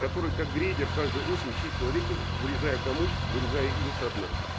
который как грейдер каждую осень чистил реки вырезая камыш вырезая ил со дна